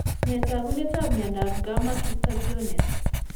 Nee taakunetaab myondap Gamma cystathionase?